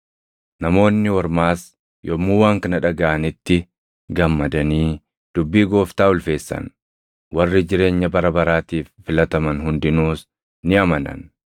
Namoonni Ormaas yommuu waan kana dhagaʼanitti gammadanii dubbii Gooftaa ulfeessan; warri jireenya bara baraatiif filataman hundinuus ni amanan.